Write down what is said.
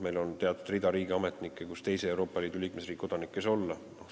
Meil on teatud hulk riigiametnike kohti, kus ei saa töötada teise Euroopa Liidu liikmesriigi kodanik.